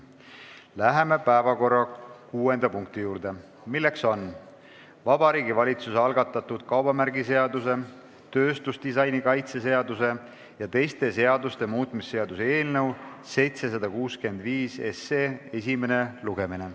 Läheme päevakorra kuuenda punkti juurde, milleks on Vabariigi Valitsuse algatatud kaubamärgiseaduse, tööstusdisaini kaitse seaduse ja teiste seaduste muutmise seaduse eelnõu esimene lugemine.